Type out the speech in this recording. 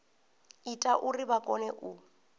ita uri vha kone u